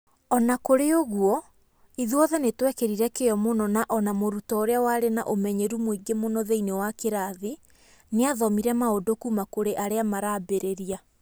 O na kũrĩ ũguo, ithuothe nĩ twekĩrire kĩyo mũno na o na mũrutwo ũrĩa warĩ na ũmenyeru mũingĩ mũno thĩinĩ wa kĩrathi nĩ athomire maũndũ kuuma kũrĩ arĩa marambĩrĩria.